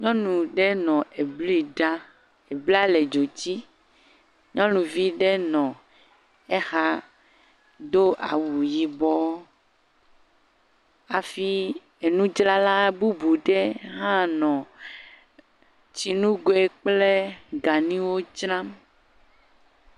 Nyɔnu ɖe nɔ ebli ɖam eblia le dzo dzi, nyɔnuvi ɖe nɔ exa do awu yibɔ, hafi enudzrala bubu ɖe hã nɔ tsi nugoe kple ganuwo dzram